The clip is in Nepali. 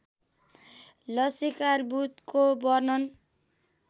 लसीकार्बुदको वर्णन